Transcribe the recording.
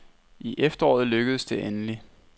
I efteråret lykkedes det endelig.